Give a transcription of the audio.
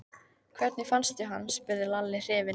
Hvernig fannstu hann? spurði Lalli hrifinn.